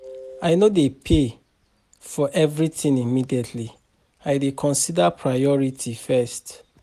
I no dey pay for everytin immediately, I dey consider priority first.